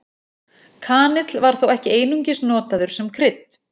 Kanill var þó ekki einungis notaður sem krydd.